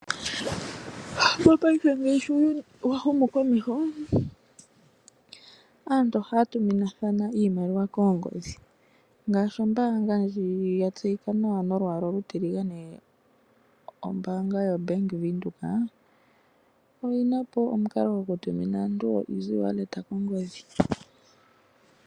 Mopaife ngaashi uuyuni wahumu komeho aantu ohaya tuminathana iimaliwa koongodhi, ngaashi ombaanga ndji yatseyika nawa nolwaala olutiligane. Ombaanga yoBank Windhoek oyina po omukalo gokutumina aantu oEasy Wallet kongodhi.